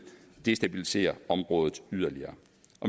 destabilisere området yderligere